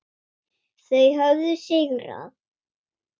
Þau höfðu sigrað.